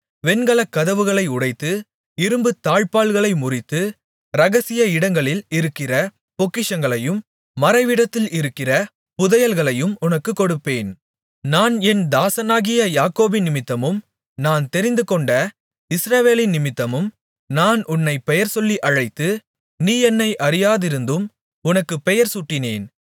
வெண்கலக் கதவுகளை உடைத்து இரும்புத் தாழ்ப்பாள்களை முறித்து இரகசிய இடங்களில் இருக்கிற பொக்கிஷங்களையும் மறைவிடத்தில் இருக்கிற புதையல்களையும் உனக்குக் கொடுப்பேன் நான் என் தாசனாகிய யாக்கோபினிமித்தமும் நான் தெரிந்துகொண்ட இஸ்ரவேலினிமித்தமும் நான் உன்னைப் பெயர்சொல்லி அழைத்து நீ என்னை அறியாதிருந்தும் உனக்கு பெயர் சூட்டினேன்